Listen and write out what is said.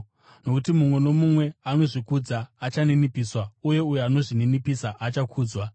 Nokuti mumwe nomumwe anozvikudza achaninipiswa, uye uyo anozvininipisa achakudzwa.”